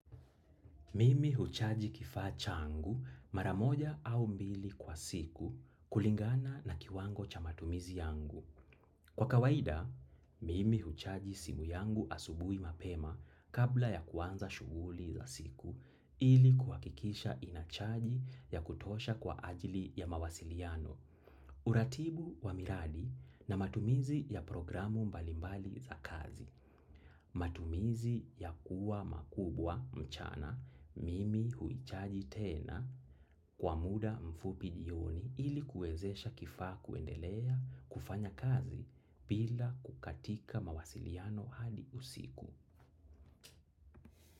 Mimi huchaji kifaa changu maramoja au mbili kwa siku kulingana na kiwango cha matumizi yangu. Kwa kawaida, mimi huchaji simu yangu asubui mapema kabla ya kuanza shuguli za siku ili kuhakikisha inachaji ya kutosha kwa ajili ya mawasiliano. Utaratibu wa miradi na matumizi ya programu mbalimbali za kazi. Matumizi ya kuwa makubwa mchana mimi huchaji tena kwa muda mfupi jioni ili kuwezesha kifaa kuendelea kufanya kazi bila kukatika mawasiliano hadi usiku.